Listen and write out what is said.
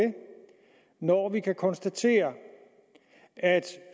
når vi kan konstatere at